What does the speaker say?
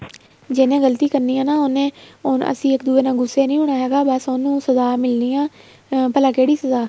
ਜਿਹਨੇ ਗ਼ਲਤੀ ਕਰਨੀ ਆ ਉਹਨੇ ਅਸੀਂ ਇੱਕ ਦੂਜੇ ਨਾਲ ਗੁੱਸੇ ਨਹੀਂ ਹੋਣਾ ਹੈਗਾ ਬੱਸ ਉਹਨੂੰ ਸਜਾ ਮਿਲਣੀ ਆ ਭਲਾ ਕਿਹੜੀ ਸਜਾ